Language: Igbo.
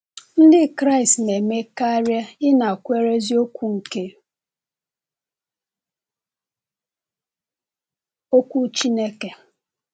Ndị Kraịst na-eme karịa ịnakwere eziokwu nke Okwu Chineke.